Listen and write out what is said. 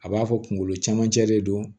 A b'a fɔ kunkolo camancɛ de don